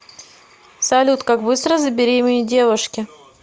салют как быстро забеременеть девушке